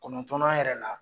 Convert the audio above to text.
Kɔnɔntɔnnan yɛrɛ la